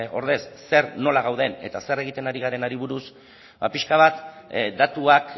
ordez zer nola gauden eta zer egiten ari garenari buruz pixka bat datuak